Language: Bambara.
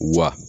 Wa